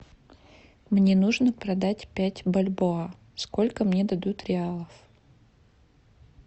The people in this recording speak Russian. мне нужно продать пять бальбоа сколько мне дадут реалов